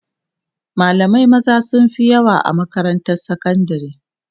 malamai maza sunfi yawa a makarantar sakandari